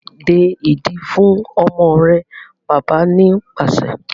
De ìdí fún ọmọ rẹ! Bàbá ni pàṣẹ.